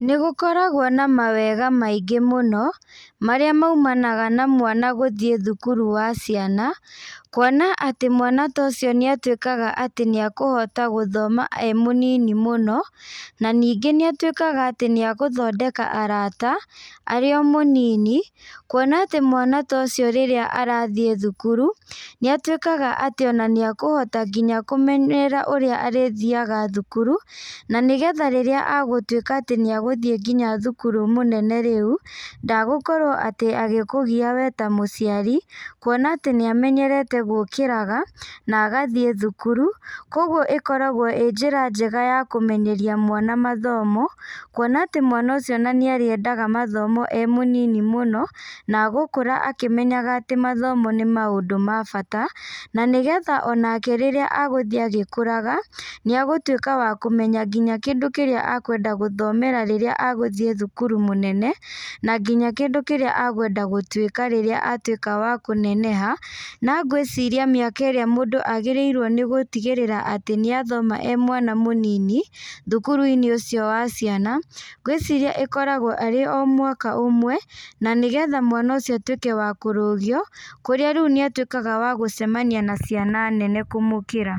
Nĩgũkoragwo na mawega maingĩ mũno, marĩa maimanaga na mwana gũthiĩ thukuru wa ciana, kuona atĩ mwana tocio nĩ atuĩkaga atĩ nĩ ekũhota gũthoma e mũnini mũno, na ningĩ nĩ atũĩkaga atĩ nĩ egũthondeka arata arĩo mũnini, kuona atĩ mwana ta ũcio rĩrĩa arathiĩ thukuru, nĩ atũĩkaga atĩ ona nĩ akũhota nginya kũmenerara ũrĩa arĩthiaga thukuru, na nĩgetha rĩria egũtwĩka atĩ nĩ egũthiĩ nginya thukuru mũnene rĩu, ndegukorwo atĩ agĩkũgia we ta mũciari, kuona atĩ nĩ amenyerete gũkĩraga, na agathiĩ thukuru, kwoguo ĩkoragwo ĩ njĩra njega ya kũmenyeria mwana mathomo, kuona atĩ mwana ũcio ona nĩ arĩendaga mathomo e mũnini mũno, na egũkora akĩmenyaga atĩ mathomo nĩ maũndũ ma bata, na nĩgetha onake rĩrĩa agũthiĩ agĩkoraga, nĩ egũtuĩka wa kũmenya nginya kĩndũ kĩrĩa ekwenda gũthomera rĩrĩa egũthiĩ thukuru mũnene, na nginya kĩndũ kĩrĩa agwenda gũtuĩka rĩrĩa atuĩka wa kũneneha, na ngwĩciria mĩaka ĩrĩa mũndũ agĩrĩrwo nĩ gũtigĩrĩra atĩ nĩ athoma emwana mũnini, thukuru-inĩ ũcio wa ciana, ngwĩciria ĩkoragwo arĩ o mwaka ũmwe, na nĩ getha mwana ũcio atũĩke wa kũrũgio, kũrĩa rĩu nĩ atũĩkaga wa gũcemania na ciana nene kũmũkĩra.